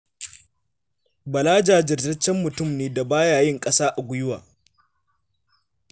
Bala jajirtaccen mutum ne da ba ya yin ƙasa a gwiwa.